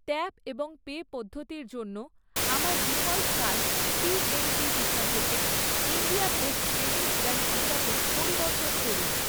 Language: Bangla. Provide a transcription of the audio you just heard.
ট্যাপ এবং পে পদ্ধতির জন্য আমার ডিফল্ট কার্ড পিএনবি ভিসা থেকে ইন্ডিয়া পোস্ট পেমেন্টস ব্যাঙ্ক ভিসাতে পরিবর্তন করুন।